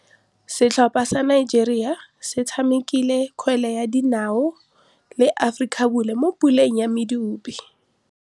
Setlhopha sa Nigeria se tshamekile kgwele ya dinaô le Aforika Borwa mo puleng ya medupe.